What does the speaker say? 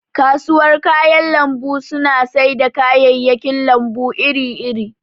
kasuwar kayan lambu suna sai da kayayyakin lambu iri iri